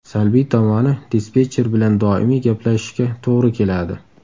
Salbiy tomoni dispetcher bilan doimiy gaplashishga to‘g‘ri keladi.